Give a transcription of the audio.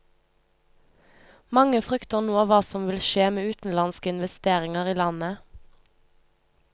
Mange frykter nå hva som vil skje med utenlandske investeringer i landet.